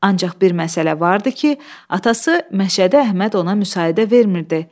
Ancaq bir məsələ vardı ki, atası Məşədi Əhməd ona müsaidə vermirdi.